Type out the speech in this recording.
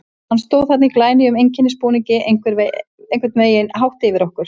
Hann stóð þarna í glænýjum einkennisbúningi, einhvern veginn hátt yfir okkur.